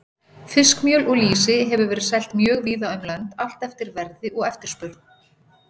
Fiskmjöl og lýsi hefur verið selt mjög víða um lönd, allt eftir verði og eftirspurn.